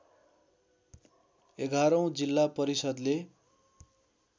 एघारौँ जिल्ला परिषद्ले